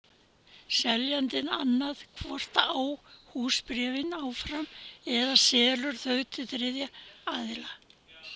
Seljandinn annað hvort á húsbréfin áfram eða selur þau til þriðja aðila.